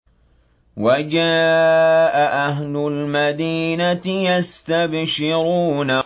وَجَاءَ أَهْلُ الْمَدِينَةِ يَسْتَبْشِرُونَ